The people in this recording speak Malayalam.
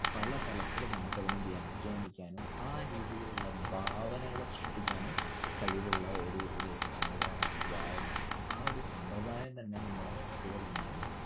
പല തലത്തിലും നമ്മക്കതിനെ വ്യാഖ്യാനിക്കാനും ആ രീതിയിലുള്ള ഭാവനകള് സൃഷ്ടിക്കാനും കഴിവുള്ള ഒരുഒരുഒരു സംവിധാനം ആണ് വായന. ആ ഒരു സമ്പ്രദായം തന്നെ നമ്മടെ കുട്ടികൾ ഇന്നും